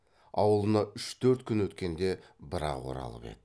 аулына үш төрт күн өткенде бір ақ оралып еді